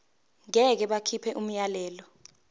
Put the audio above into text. ngeke bakhipha umyalelo